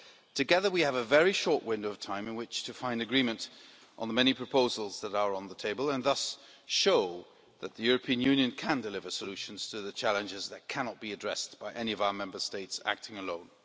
Together we have a very short window of time in which to find agreement on the many proposals that are on the table and thus show that the European Union can deliver solutions to the challenges that cannot be addressed by any of our Member States acting alone.